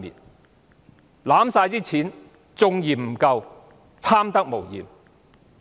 他們手握全部儲備還嫌未夠，貪得無厭。